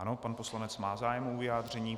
Ano, pan poslanec má zájem o vyjádření.